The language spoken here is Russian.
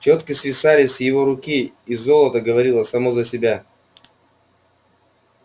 чёткисвисали с его руки и золото говорило само за себя